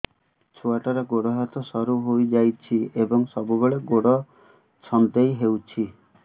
ଛୁଆଟାର ଗୋଡ଼ ହାତ ସରୁ ହୋଇଯାଇଛି ଏବଂ ସବୁବେଳେ ଗୋଡ଼ ଛଂଦେଇ ହେଉଛି